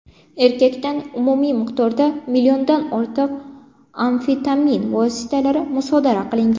Erkakdan umumiy miqdorda milliondan ortiq amfetamin vositalari musodara qilingan.